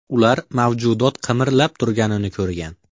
Ular mavjudot qimirlab turganini ko‘rgan.